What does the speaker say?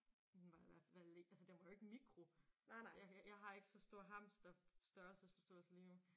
Den var i hvert fald ikke altså den var jo ikke mikro det jeg kan jeg har ikke så stor hamsterstørrelsesforståelse lige nu